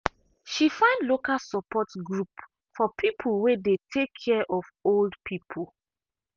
she find local support group for people wey dey take care of old people.